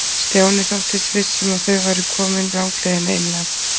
Stjáni þóttist viss um að þau væru komin langleiðina inn að